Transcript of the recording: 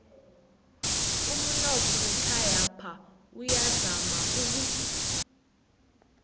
umunotho wekhayapha uyazama uku